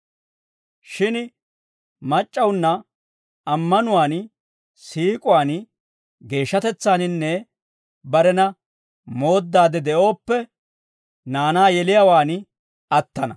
Shin mac'c'awunna ammanuwaan, siik'uwaan, geeshshatetsaaninne barena mooddaade de'ooppe, naanaa yeliyaawaan attana.